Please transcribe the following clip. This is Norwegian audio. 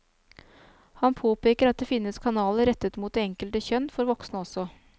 Han påpeker at det finnes kanaler rettet mot det enkelte kjønn for voksne også.